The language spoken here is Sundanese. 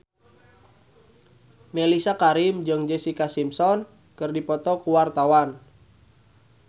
Mellisa Karim jeung Jessica Simpson keur dipoto ku wartawan